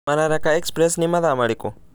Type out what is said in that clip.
mararaka express ni mathaa marĩkũ